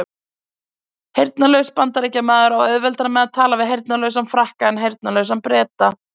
Heyrnarlaus Bandaríkjamaður á auðveldara með að tala við heyrnarlausan Frakka en heyrnarlausan Breta!